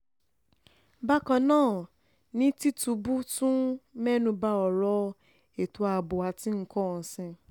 bákan náà ni tìtúbù tún mẹ́nubbà ọ̀rọ̀ ètò ààbò àti nǹkan ọ̀sìn